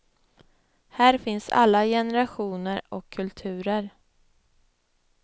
Här finns alla generationer och kulturer.